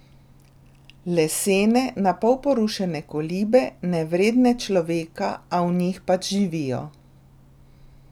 Lesene, napol porušene kolibe, nevredne človeka, a v njih pač živijo.